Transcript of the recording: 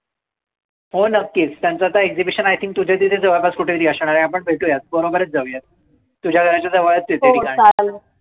हो नक्कीच. त्यांचं आता exibition तुझ्या तिथे जवळपास कुठेतरी असणार आहे. आपण भेटूयात. बरोबरच जाऊयात. तुझ्या घराच्या जवळच आहे ते ठिकाण.